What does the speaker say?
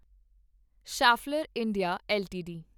Schaeffler India LTD